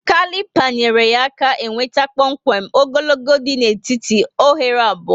kalipa nyere ya aka e nweta kpọmkwem ogologo dị na étíti oghere abụọ